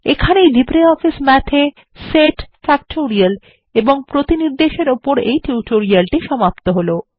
এখানেই LibreOffice Math এ set factorial এবং প্রতিনির্দেশ এর উপর এই টিউটোরিয়ালটি সমাপ্ত হলো